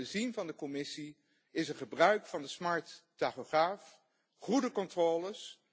Wat wij hadden willen zien van de Commissie, is het gebruik van de slimme tachograaf en goede controles.